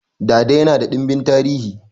Dada yana da dimbin tarihi